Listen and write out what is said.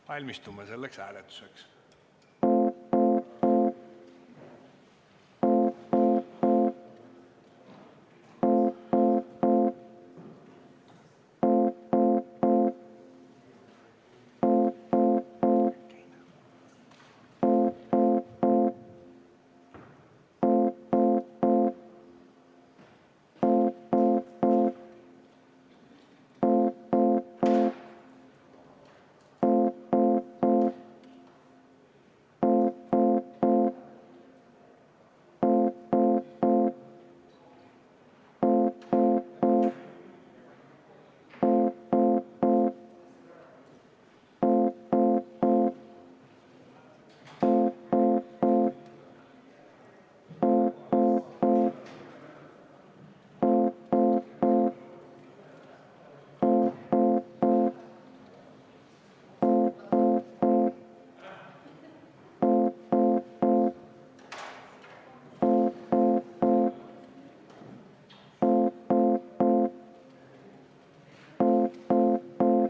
Valmistume selleks hääletuseks.